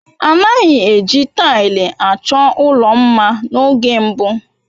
A naghị eji taịlị achọ ụlọ mma n'oge mbụ.